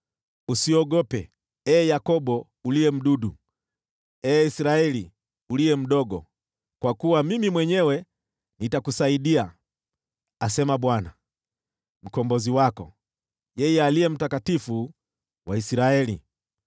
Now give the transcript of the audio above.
Usiogope, ee Yakobo uliye mdudu, ee Israeli uliye mdogo, kwa kuwa Mimi mwenyewe nitakusaidia,” asema Bwana , Mkombozi wako, yeye Aliye Mtakatifu wa Israeli.